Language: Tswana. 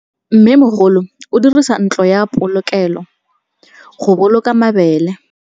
Mmêmogolô o dirisa ntlo ya polokêlô, go boloka mabele.